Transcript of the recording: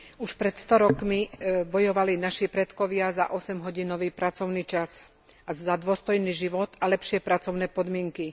Už pred sto rokmi bojovali naši predkovia za osemhodinový pracovný čas a za dôstojný život a lepšie pracovné podmienky.